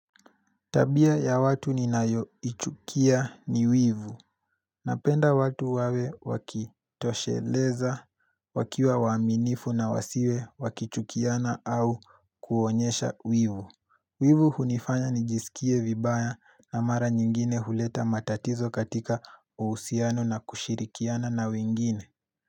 Tabia ya watu ninayoichukia ni wivu Napenda watu wawe wakitosheleza wakiwa waaminifu na wasiwe wakichukiana au kuonyesha wivu Wivu hunifanya nijisikie vibaya na mara nyingine huleta matatizo katika uhusiano na kushirikiana na wingine.